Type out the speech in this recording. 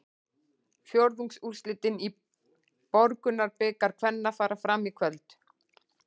Fjórðungsúrslitin í Borgunarbikar kvenna fara fram í kvöld.